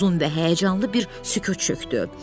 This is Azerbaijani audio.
Uzun və həyəcanlı bir sükut çökdü.